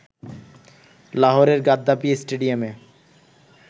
লাহোরের গাদ্দাফি স্টেডিয়ামে